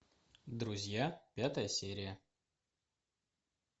друзья пятая серия